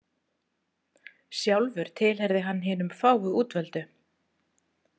Sjálfur tilheyrði hann hinum fáu útvöldu.